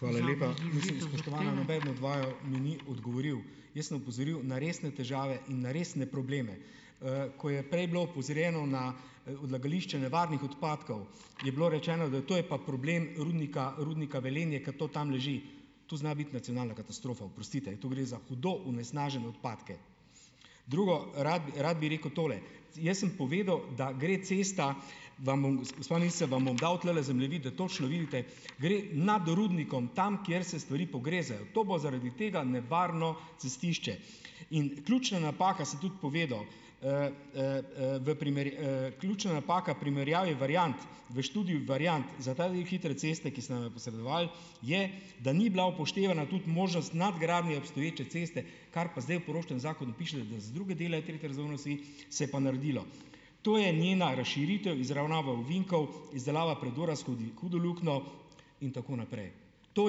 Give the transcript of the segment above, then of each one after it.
, noben od vaju mi ni odgovoril . Jaz sem opozoril na resne težave in na resne probleme. ko je prej bilo opozorjeno na odlagališče nevarnih odpadkov, je bilo rečeno, da to je pa problem rudnika, rudnika Velenje, ker to tam leži. To zna biti nacionalna katastrofa, oprostite. Tu gre za hudo onesnažene odpadke. Drugo, rad, rad bi rekel tole. Jaz sem povedal, da gre cesta, vam bom, gospa ministrica, vam bom dal tulele zemljevid, da točno vidite, gre nad rudnikom, tam, kjer se stvari pogrezajo. To bo zaradi tega nevarno cestišče. In ključna napaka, sem tudi povedal, v ključna napaka primerjavi variant, v študiju variant, za ta del hitre ceste, ki sem vam jo posredoval, je, da ni bila upoštevana tudi možnost nadgradnje obstoječe ceste, kar pa zdaj v poroštvenem zakonu piše, da z druge dele tretje razvojne osi se pa naredilo. To je njena razširitev, izravnava ovinkov, izdelava predora skozi Hudo luknjo in tako naprej. To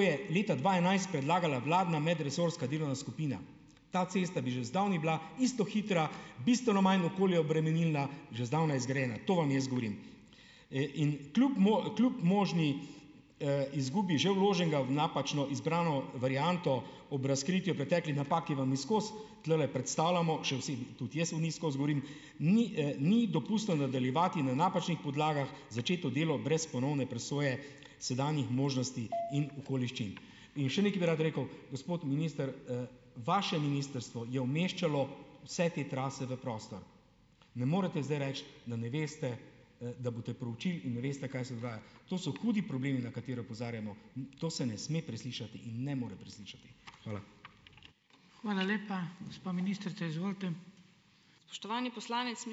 je leta dva enajst predlagala vladna medresorska delovna skupina. Ta cesta bi že zdavnaj bila isto hitra, bistveno manj okolje obremenilna, že zdavnaj zgrajena. To vam jaz govorim. in kljub kljub možni, izgubi že vloženega v napačno izbrano varianto, ob razkritju preteklih napak, ki vam jih skozi tulele predstavljamo, še vsi, tudi jaz v njih skozi govorim, ni, ni dopustno nadaljevati na napačnih podlagah, začeto delo brez ponovne presoje sedanjih možnosti in okoliščin. In še nekaj bi rad rekel. Gospod minister, vaše ministrstvo je umeščalo vse te trase v prostor. Ne morete zdaj reči, da ne veste, da boste preučili in ne veste, kaj se dogaja. To so hudi problemi, na katere opozarjamo. In to se ne sme preslišati in ne more preslišati. Hvala. Hvala lepa. Gospa ministrica, izvolite. Spoštovani poslanec, ...